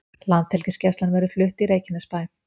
Landhelgisgæslan verði flutt í Reykjanesbæ